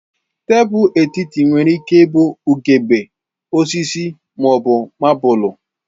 Tebụl etiti nwere ike ịbụ ugegbe, osisi ma ọ bụ mabụlụ.